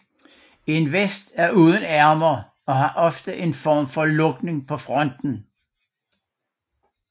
En vest er uden ærmer og har ofte en form for lukning på fronten